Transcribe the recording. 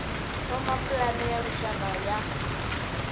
thoma pulane ya lushaka ya